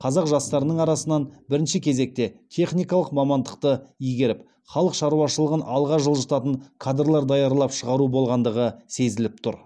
қазақ жастарының арасынан бірінші кезекте техникалық мамандықты игеріп халық шаруашылығын алға жылжытатын кадрлар даярлап шығару болғандығы сезіліп тұр